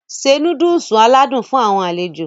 Se Núdúùsù aládùn fún àwọn alejo